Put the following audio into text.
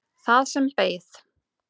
Það sem beið.